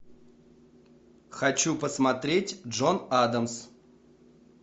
хочу посмотреть джон адамс